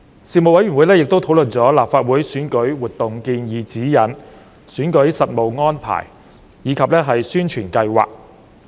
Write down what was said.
事務委員會亦討論了《立法會選舉活動建議指引》、選舉實務安排及宣傳計劃。